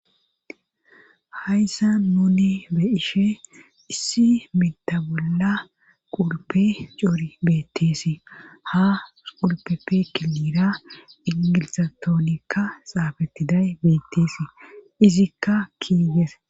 hayssa nuni be'she issi mita bolla qulpe coori beetteesi ha qulpeppe kilira ingilixatonka xaapettiday beetteesi izikka keys